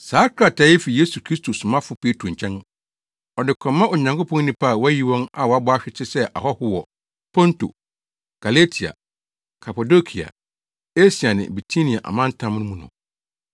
Saa krataa yi fi Yesu Kristo somafo Petro nkyɛn, Ɔde kɔma Onyankopɔn nnipa a wayi wɔn a wɔabɔ ahwete sɛ ahɔho kɔ Ponto, Galatia, Kapadokia, Asia ne Bitinia amantam mu no.